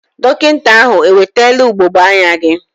Dọkịta ahụ ewetela ugogbe anya gị?